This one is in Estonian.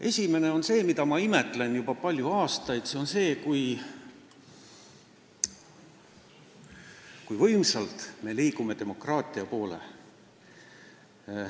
Esimene on see, mida ma imetlen juba palju aastaid, nimelt, kui võimsalt me liigume demokraatia poole.